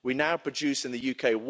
We now produce in the UK